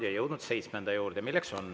Oleme jõudnud seitsmenda juurde.